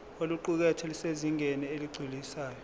oluqukethwe lusezingeni eligculisayo